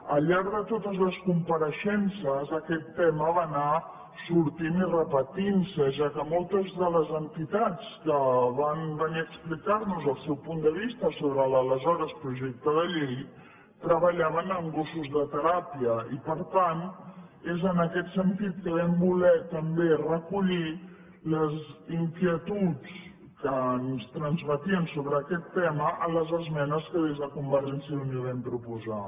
al llarg de totes les compareixences aquest tema va anar sortint i repetint se ja que moltes de les entitats que van venir a explicar nos el seu punt de vista sobre l’aleshores projecte de llei treballaven amb gossos de teràpia i per tant és en aquest sentit que vam voler també recollir les inquietuds que ens transmetien sobre aquest tema en les esmenes que des de convergència i unió vam proposar